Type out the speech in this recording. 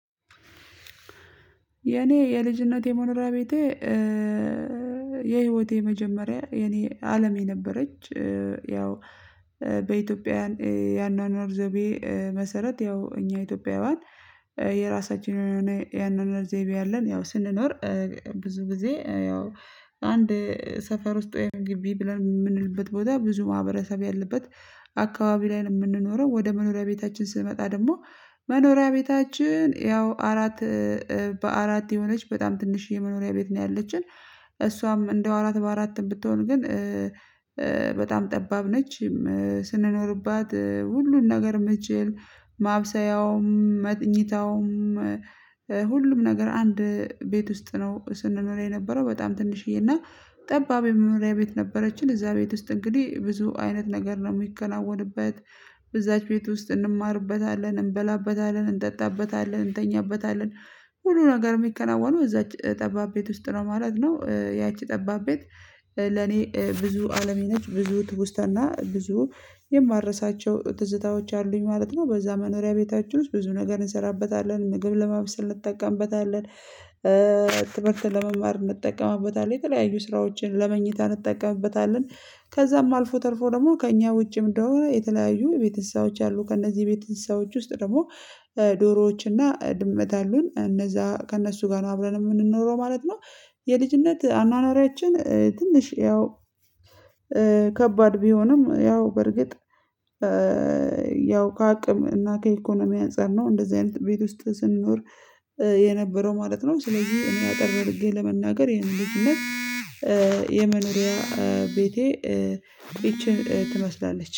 የኔ የልጅነቴ መኖሪያ ቤቴ። የህይወቴ መጀመሪያ የኔ አለም የነበረች። ያው በኢትዮጵያኅ የአኗኗር ዘይቤ መሰረት ያው እኛ ኢትዮጵያውያን የራሳችን የአኗኗር ዘይቤ አለን። ያው ስንኖር ብዙ ጊዜ ያው አንድ ሰፈር ውስጥ ወይም ግቢ ብለን የምንልበት ቦታ ብዙ ማህበረሰብ ያለበት አካባቢ ላይ ነው የምንኖረው። ወደ መኖሪያ ቤታችን ስንመጣ ደግሞ መኖሪያ ቤታችን ያው አራት በአራት የሆነች በጣም ትንሽ የመኖሪያ ቤት ነው ያለችን። እሷም እንደው አራት በአራትም ብትሆን ግን በጣም ጠባብ ነች። ስንኖርባት ሁሉን ነገር መቼም ማብሰያውም መኝታውም ሁሉም ነገር አንድ ቤት ውስጥ ነው ስንኖር የነበረው በጣም ትንሽዬና ጠባብ የመኖሪያ ቤት ነበረችን። እዛ ቤት ውስጥ እንግዲህ ብዙ አይነት ነገር ነው የሚከናወንበት። በዛች ቤት ውስጥ እንማርበታለን እንበላበታለን እንጠጣበታለን እንተኛበታለን ሁሉ ነገር የሚከናወነው እዛች ጠባብ ቤት ውስጥ ነው ማለት ነው። ያቺ ጠባብ ቤት ለኔ ብዙ አለሜ ነች። ብዙ ትውስታና ብዙ የማረሳቸው ትዝታዎች አሉኝ ማለት ነው። በዛ መኖሪያ ቤታችን ውስጥ ብዙ ነገር እንሰራበታለን ምግብ ለማብሰል እንጠቀምበታለን። ትምህርት ለመማር እንጠቀምበታለን የተለያዩ ስራዎችን ለመኝታ እንጠቀምበታለን። ከዛም አልፎ ተርፎ ደግሞ ከእኛ ውጪ ደግሞ የተለያዩ ቤተሰቦች አሉ። ከእነዚህ ቤተሰቦች ውስጥ ደግሞ ዶሮዎች እና ድመት አሉን እነዛ ከእነሱ ጋር አብረን ነው የምንኖረው ማለት ነው። የልጅነት አኗኗሯችን ትንሽ ያው ከባድ ቢሆንም ያው በርግጥ ያው ከአቅም እና ከኢኮኖሚ አንፃር ነው እንደዚህ አይነት ቤት ውስጥ ስንኖር የነበረው ማለት ነው። ስለዚህ እኔ አጠር አድርጌ ለመናገር የኔን ልጅነት የመኖሪያ ቤቴ ይቺን ትመስላለች